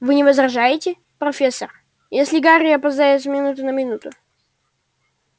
вы не возражаете профессор если гарри опоздает с минуты на минуту